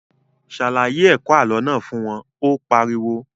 Ṣàlàyé ẹ̀kọ́ àlọ́ náà fún wọn, Ó pariwo